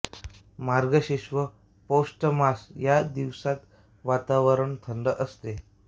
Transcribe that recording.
मार्गशीर्ष व पौष मास या दिवसांत वातावरण थंड राहते